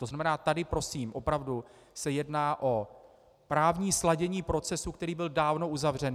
To znamená, tady prosím opravdu se jedná o právní sladění procesu, který byl dávno uzavřen.